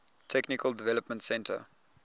technical development center